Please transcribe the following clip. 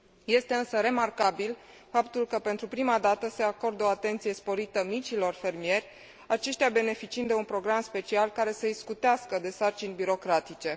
Este, însă, remarcabil faptul că, pentru prima dată, se acordă o atenție sporită micilor fermieri, aceștia beneficiind de un program special, care să îi scutească de sarcini birocratice.